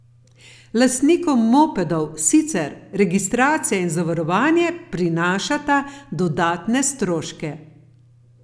Lastnikom mopedov sicer registracija in zavarovanje prinašata dodatne stroške.